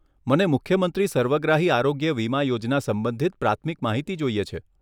મને મુખ્યમંત્રી સર્વગ્રાહી આરોગ્ય વીમા યોજના સંબંધિત પ્રાથમિક માહિતી જોઈએ છે.